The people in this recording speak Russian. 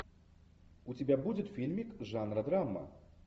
у тебя будет фильмик жанра драма